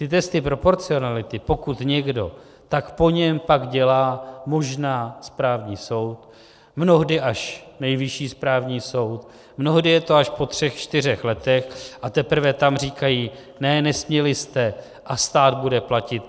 Ty testy proporcionality, pokud někdo, tak po něm pak dělá možná správní soud, mnohdy až Nejvyšší správní soud, mnohdy je to až po třech čtyřech letech, a teprve tam říkají ne, nesměli jste, a stát bude platit